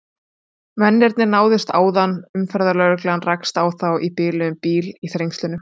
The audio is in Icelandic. Mennirnir náðust áðan, umferðarlögreglan rakst á þá í biluðum bíl í Þrengslunum.